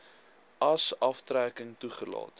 as aftrekking toegelaat